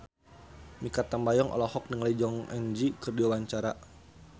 Mikha Tambayong olohok ningali Jong Eun Ji keur diwawancara